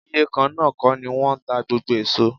Iye kan náà kọ́ ni wọ́n ń ta gbogbo èso.